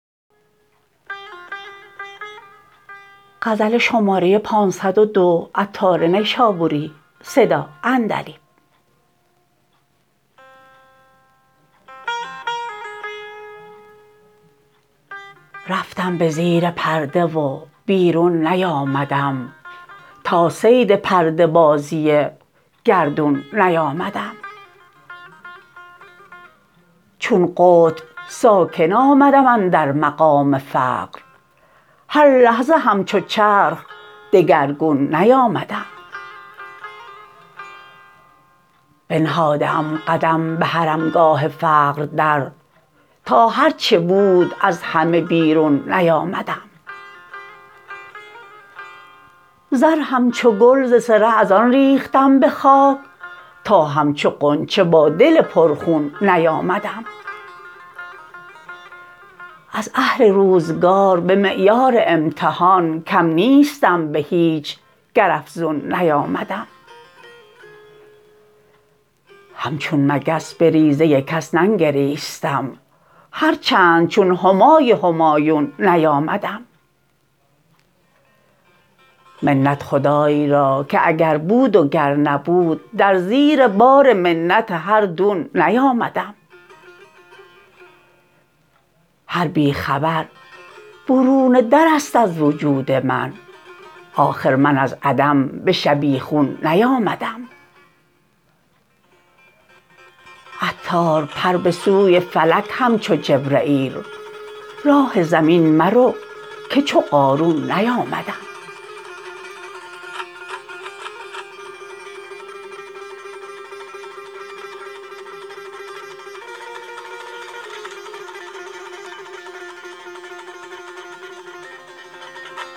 رفتم به زیر پرده و بیرون نیامدم تا صید پرده بازی گردون نیامدم چون قطب ساکن آمدم اندر مقام فقر هر لحظه همچو چرخ دگرگون نیامدم بنهاده ام قدم به حرمگاه فقر در تا هرچه بود از همه بیرون نیامدم زر همچو گل ز صره از آن ریختم به خاک تا همچو غنچه با دل پر خون نیامدم از اهل روزگار به معیار امتحان کم نیستم به هیچ گر افزون نیامدم همچون مگس به ریزه کس ننگریستم هر چند چون همای همایون نیامدم منت خدای را که اگر بود و گر نبود در زیر بار منت هر دون نیامدم هر بی خبر برون درست از وجود من آخر من از عدم به شبیخون نیامدم عطار پر به سوی فلک همچو جبرییل راه زمین مرو که چو قارون نیامدم